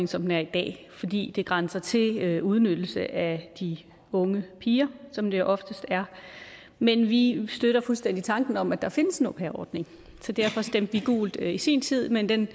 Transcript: som den er i dag fordi det grænser til udnyttelse af de unge piger som det oftest er men vi støtter fuldstændig tanken om at der findes en au pair ordning så derfor stemte vi gult i sin tid men den